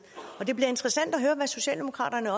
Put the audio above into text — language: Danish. og det bliver interessant at høre hvad socialdemokraterne